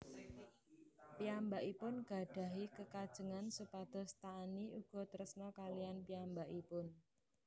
Piyambakipun gadhahi kekajengan supados Taani uga tresna kaliyan piyambakipun